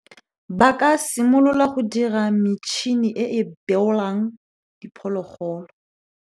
Ba ka simolola go dira metšhini e e beolang diphologolo.